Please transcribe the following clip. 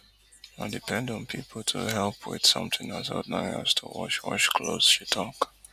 i depend on pipo to help wit something as ordinary as to wash wash clothes she tok